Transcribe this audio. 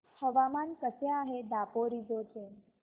हवामान कसे आहे दापोरिजो चे